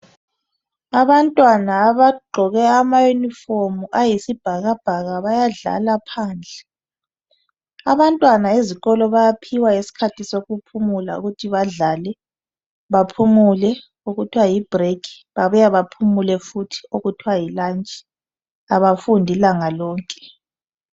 Abantwana abagqoke amayunifomu ayisibhakabhaka badlala phandle. Abantwana ezikolo bayaphiwa iskhathi sokuphula ukuthi badlale, baphumule ukuthiwa yibhurekhi, Babuya baphumule futhi okuthiwa yilatshi. Abafundi ilanga lonke.